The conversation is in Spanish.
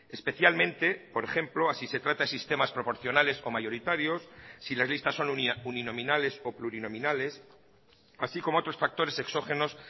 especialmente por ejemplo así se trata de sistemas proporcionales o mayoritarios si las listas son uninominales o plurinominales así como otros factores exógenos